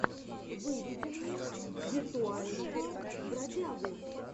выведи мне виртуального бродягу